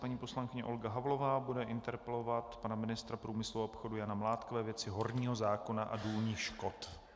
Paní poslankyně Olga Havlová bude interpelovat pana ministra průmyslu a obchodu Jana Mládka ve věci horního zákona a důlních škod.